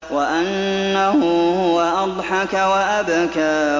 وَأَنَّهُ هُوَ أَضْحَكَ وَأَبْكَىٰ